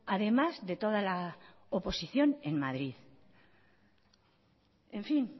además de toda la oposición en madrid